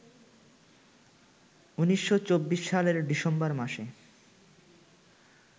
১৯২৪ সালের ডিসেম্বর মাসে